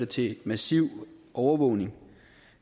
til en massiv overvågning